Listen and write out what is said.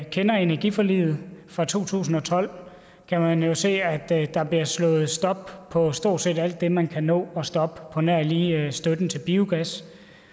kender energiforliget fra to tusind og tolv kan jo se at at der er blevet sat en stopper for stort set alt det man kan nå at stoppe på nær lige støtten til biogas